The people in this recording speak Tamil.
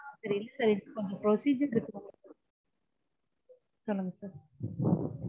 sir இல்ல sir கொஞ்சம் procedure இருக்கு சொல்லுங்க sir